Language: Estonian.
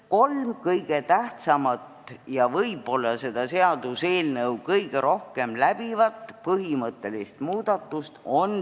Kolm kõige tähtsamat ja võib-olla seda seaduseelnõu kõige rohkem läbivat põhimõttelist muudatust on järgmised.